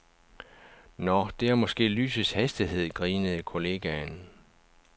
Nå, det er måske lysets hastighed, grinede kollegaen.